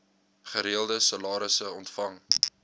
gereelde salarisse ontvang